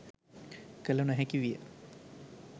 කළ නො හැකි විය